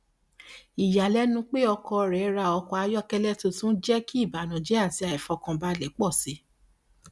ìyàlẹnu pé ọkọ rẹ ra ọkọ ayọkẹlẹ tuntun jẹ kí ìbànújẹ àti aifọkànbalẹ pọ síi